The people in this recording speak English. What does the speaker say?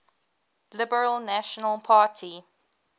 liberal national party